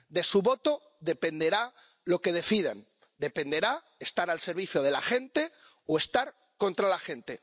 De su voto dependerá lo que decidan, dependerá estar al servicio de la gente o estar contra la gente.